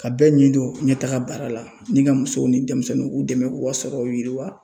Ka bɛɛ ɲi don ɲɛtaga baara la ni ka musow ni denmisɛnninw k'u dɛmɛ u ka sɔrɔw yiriwa.